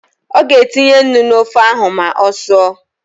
Ọ ga-etinye nnu n’ofe ahụ ma ọ sụọ